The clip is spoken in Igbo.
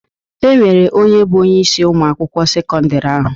E nwere onye bụ onyeisi Ụmụ akwụkwọ sekọndrị ahụ.